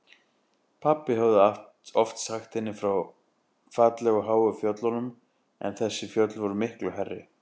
Pabbi hafði oft sagt henni frá fallegu háu fjöllunum en þessi fjöll voru miklu hærri.